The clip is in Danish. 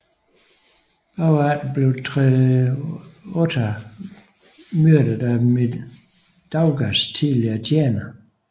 Efterfølgende blev Treniota myrdet af Mindaugas tidligere tjener